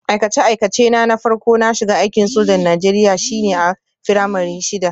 Aikace-aikacena na farko na shiga aikin sojan Najeriya shine a firamare shida